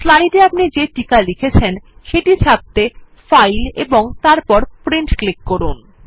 slide এ আপনি যে টিকা লিখেছেন সেটি ছাপতে ফাইল এবং তারপর প্রিন্ট এ ক্লিক করুন